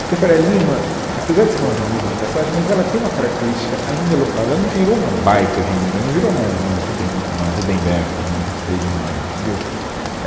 Porque a Faria Lima, apesar de ser uma avenida de passagem, mas ela tem uma característica ainda local, ela não virou uma baita avenida, não virou uma uma Rubem uma Ruben Berta, uma vinte e três de maio, entendeu?